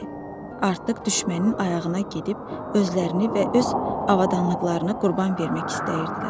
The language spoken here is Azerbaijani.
Artıq düşmənin ayağına gedib özlərini və öz avadanlıqlarını qurban vermək istəyirdilər.